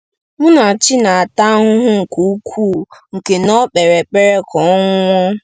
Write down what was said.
Munachi na-ata ahụhụ nke ukwuu nke na o kpere ekpere ka ọ nwụọ.